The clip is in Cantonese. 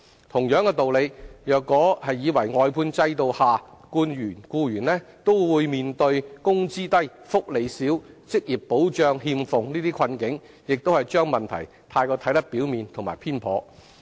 同樣道理，如以為外判制度下僱員均面對"工資低、福利少、職業保障欠奉"等困境，亦是將問題看得過於表面和偏頗。